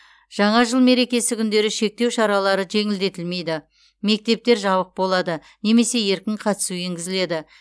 жаңа жыл мерекесі күндері шектеу шаралары жеңілдетілмейді мектептер жабық болады немесе еркін қатысу енгізіледі